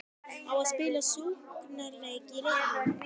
Á að spila sóknarleik í leiknum?